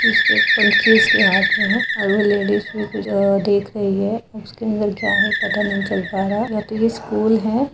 इसके पंची इसके हाथ में है और वो लेडीज़ भी देख रही है उसके अन्दर क्या है पता नही चल पारा या तो ये स्कूल है।